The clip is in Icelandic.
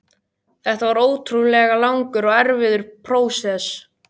Þetta var ótrúlega langur og erfiður prósess.